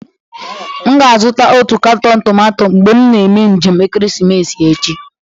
M ga-azụta otu katọn tomato mgbe m na-eme njem ekeresimesi echi.